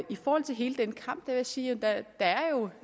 i forhold til hele den kamp vil jeg sige